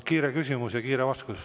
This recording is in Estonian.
Kiire küsimus ja kiire vastus.